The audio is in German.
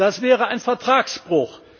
Das wäre ein Vertragsbruch!